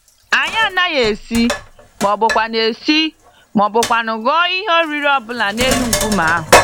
Anyị anaghị esi, mọbụkwanụ esi, mọbụkwanụ hụọ ihe oriri ọbula n'elu nkume ahụ.